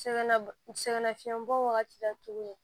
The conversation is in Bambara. Sɛgɛnna sɛgɛn nafiɲɛbɔ wagati la tuguni